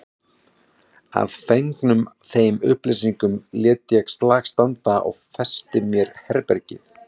Að fengnum þeim upplýsingum lét ég slag standa og festi mér herbergið.